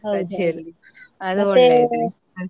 .